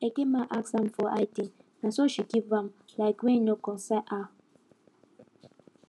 eke man ask am for idna so she give am like way e no concern her